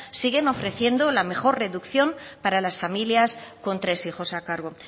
siguen ofreciendo la mejor reducción para las familias con tres hijos a cargo